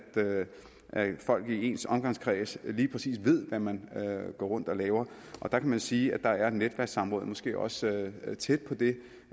folk i ens omgangskreds ved hvad man går rundt og laver og der kan man sige at netværkssamrådet måske også er tæt på det